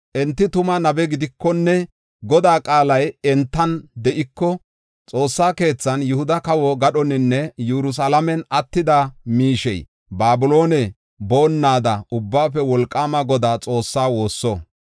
Enti tuma nabe gidikonne Godaa qaalay entan de7iko, Xoossa keethan, Yihuda kawo gadhoninne Yerusalaamen attida miishey Babiloone boonnada Ubbaafe Wolqaama Godaa Xoossaa woosso.